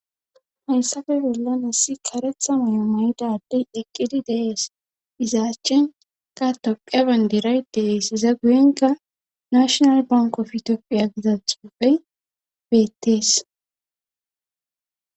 hayssafe bollan issi karetha mayo mayida adey eqqidi dees izaachen ka tophiya bandiray dees iza guyenka nashonal bankofi ethitophiya giza xufey beettees